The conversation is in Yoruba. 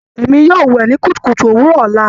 Èmi yóò wẹ ní kùtùkùtù òwúrò ọla.